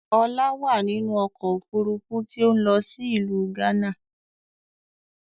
Ọlá wá nínú ọkọ̀ Òfurufú tí ó ń lọ sí ìlú gánà